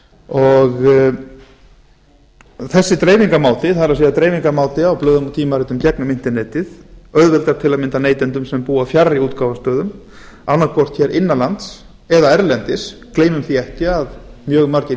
og þessi dreifingarmáti það er dreifingarmáti á blöðum og tímaritum gegnum internetið auðveldar til að mynda neytendum sem búa fjarri útgáfustöðum annaðhvort innan lands eða erlendis gleymum því ekki að mjög margir